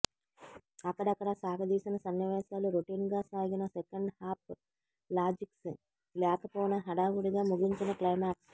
అక్కడక్కడా సాగదీసిన సన్నివేశాలు రొటీన్ గా సాగిన సెకండ్ హాఫ్ లాజిక్స్ లేకపోవడం హడావుడిగా ముగించిన క్లైమాక్స్